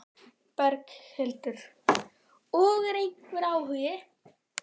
Berghildur: Og er einhver áhugi?